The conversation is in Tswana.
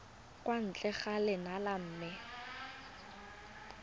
kwa ntle ga lenyalo mme